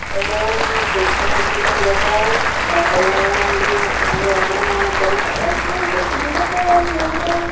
ఇందులో మనం చూసినట్లయితే ఇది ఒక హోటల్ లాగా వుంది. .అలాగే అక్కడ మనకు కావలసినటువంటి చిరుబండారాలు దొరుకుతాయి .